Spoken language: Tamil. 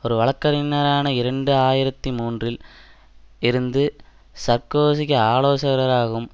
ஒரு வழக்கறிஞரான இரண்டாயிரத்தி மூன்றில் இருந்து சார்க்கோசிக்கு ஆலோசகராகவும்